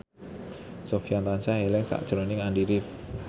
Sofyan tansah eling sakjroning Andy rif